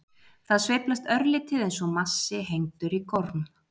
Það sveiflast örlítið eins og massi hengdur í gorm.